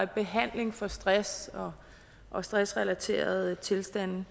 behandling for stress og stressrelaterede tilstande